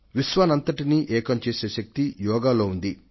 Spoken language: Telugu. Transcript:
విశ్వాన్నంతటినీ ఏకం చేసే శక్తి యోగాలో ఉంది